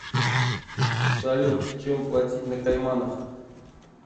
салют чем платить на кайманах